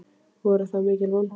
Voru það mikil vonbrigði?